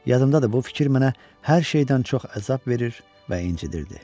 Yadımdadır, bu fikir mənə hər şeydən çox əzab verir və incidirdi.